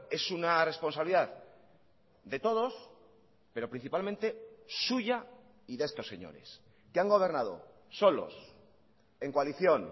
es una responsabilidad de todos pero principalmente suya y de estos señores que han gobernado solos en coalición